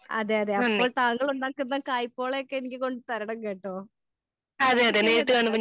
അതെ അതെ അപ്പോൾ താങ്കൾ ഉണ്ടാകുന്ന കൈപോളയൊക്കെ എനിക്ക് കൊണ്ട് തരണം കേട്ടോ ഓക്കേ ശരിയെന്ന .